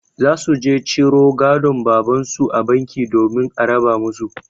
Za su je ciro gadon babansu a banki domin a raba musu.